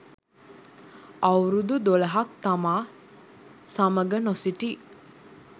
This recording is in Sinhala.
අවුරුදු දොළහක් තමා සමග නොසිටි